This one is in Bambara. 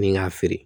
Ni k'a feere